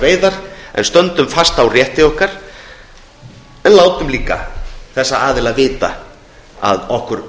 veiðar en stöndum fast á rétti okkar en látum líka þessa aðila vita að okkur